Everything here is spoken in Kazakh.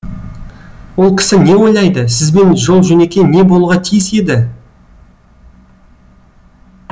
ол кісі не ойлайды сізбен жол жөнекей не болуға тиіс еді